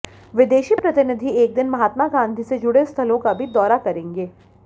विदेशी प्रतिनिधि एक दिन महात्मा गांधी से जुड़े स्थलों का भी दौरा करेंगे